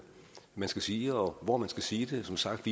man skal sige og hvor man skal sige det som sagt